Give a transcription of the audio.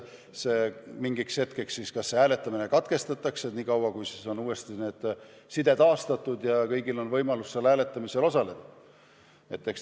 Oodatakse, kuni side on taastatud ja kõigil on võimalik hääletamisel osaleda.